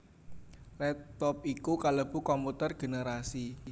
Laptop iku kalebu komputer generasi